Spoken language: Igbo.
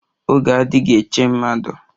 Oge adighi eche mmadụ